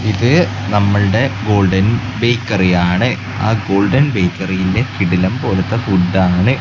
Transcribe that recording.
ഇത് നമ്മുടെ golden bakery ആണ് ആ ഗോൾഡൻ ബേക്കറിയിലെ കിടിലൻ പോലത്തെ ഫുഡ് ആണ്.